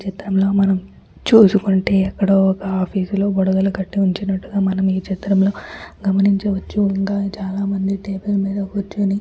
ఈ చిత్రం లో మనం చూసుకుంటే ఎక్కడో ఒక్క ఆఫీసు లో బుడగలు కట్టివుంచినట్లుగా మనం ఈ చిత్రం లో గమనించవచ్చుఇంక చాలా మంది టేబుల్ మీద కుర్చొని--